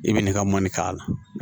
I bɛ nin ka mɔni k'a la